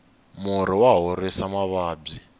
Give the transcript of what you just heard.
murhi wa horisa mavabyi